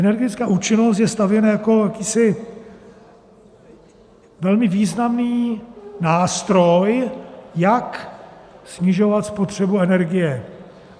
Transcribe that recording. Energetická účinnost je stavěna jako jakýsi velmi významný nástroj, jak snižovat spotřebu energie.